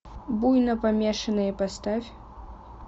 буйнопомешанные поставь